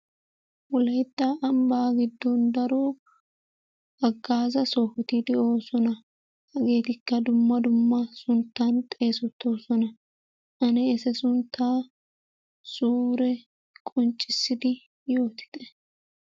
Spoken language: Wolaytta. Wolaytta ambbaa giddon daro hagaazaa sohoti de'oosona. Hageetikka dumma dumma sunttan xeessettoosona. Ane etaa sunttaa suure qonccissidi yoottite.